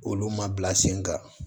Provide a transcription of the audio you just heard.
Olu ma bila sen kan